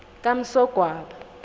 kamsogwaba